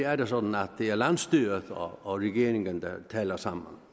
er det sådan at det er landsstyret og regeringen der taler sammen